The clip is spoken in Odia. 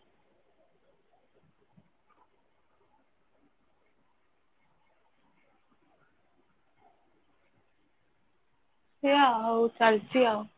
ସେଇଆ ଅଉ ଚାଲିଚି ଅଉ